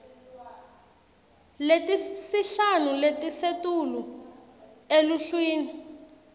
letisihlanu letisetulu eluhlwini